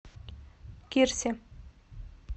кирсе